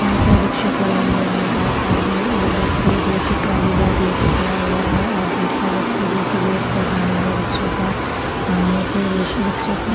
यहाँ पे ई-रिक्शे खड़े हुए है और साइड में एक व्यक्ति जो की ट्राली बैग लेके खड़ा हुआ है और दूसरा व्यक्ति जो की वेट कर रहा है रिक्शे का सामने पे र-र रिक्शे पे।